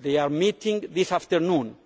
They are meeting this afternoon